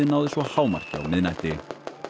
náði svo hámarki á miðnætti